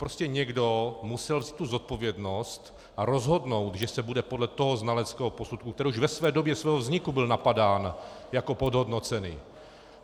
Prostě někdo musel vzít tu zodpovědnost a rozhodnout, že se bude podle toho znaleckého posudku, který už ve své době svého vzniku byl napadán jako podhodnocený.